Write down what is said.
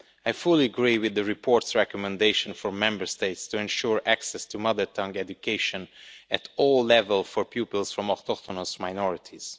I fully agree with the report's recommendation for Member States to ensure access to mother tongue education at all levels for pupils from autochthonous minorities.